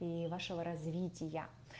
и вашего развития